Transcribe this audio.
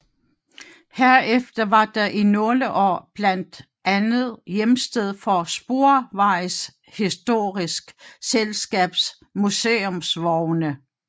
Herefter var den i nogle år blandt andet hjemsted for Sporvejshistorisk Selskabs museumsvogne